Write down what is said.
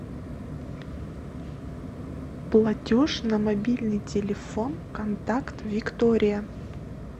платеж на мобильный телефон контакт виктория